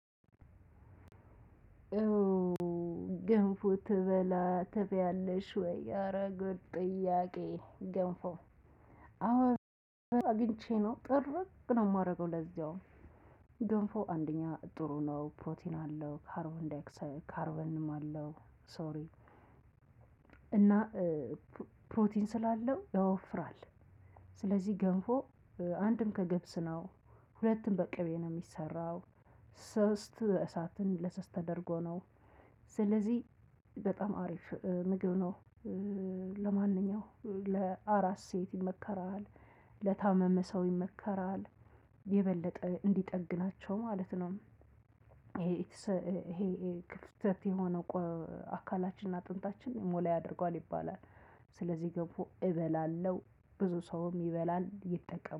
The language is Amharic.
እዎ ገንፎ ትበላ ትበያለሽ ወይ ኧረጉድ ጥያቄ ገንፎ አወቅኩኝ አግኝቼ ነው ጥርግ ነው የማደርገው ለዚያው። ገንፎ አንደኛ ጥሩ ነው ፕሮቲን አለው ካርቦን ዳይክሳይድ ካርቦንም አለው ሶሪ እና ፕሮቲን ስላለው ያወፍራል። ስለዚህ ገንፎ አንድም ከገብስ ነው ሁለትም ከቅቤ ነው የሚሰራው ሶስት እሳትን ለሰስ ተደርጎ ነው ስለዚህ በጣም አሪፍ ምግብ ነው። ለማንኛውም ለአስ ሴት ይመከራል ለታመመ ሰው ይመከራል የበለጠ እንዲጠግናቸው ማለት ነው። ይሄ ይሄ ክፍተት የሆነው አካላችንና አጥንታችን ሞላ ያደርገዋል ይባላል። ስለዚህ ገንፎ እበላለሁ ብዙ ሰውም ይበላል ይጠቀሙ